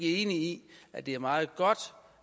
enig i at det er meget godt